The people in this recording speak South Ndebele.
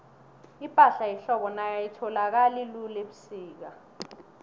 ipahla yehlobo nayo ayitholakali lula ubusika